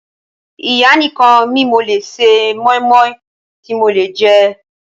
Ìyá nìkan mi lò lé ṣe mọ́ímọ́í tí mo lè jẹ́.